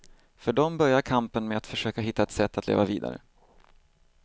För dem börjar kampen med att försöka hitta ett sätt att leva vidare.